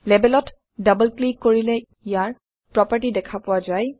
লেবেলত double click কৰিলে ইয়াৰ প্ৰপাৰ্টি দেখা পোৱা যায়